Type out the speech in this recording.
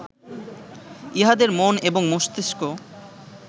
ইহাদের মন এবং মস্তিঙ্ক